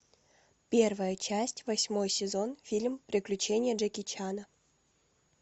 первая часть восьмой сезон фильм приключения джеки чана